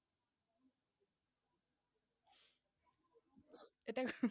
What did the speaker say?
এইটা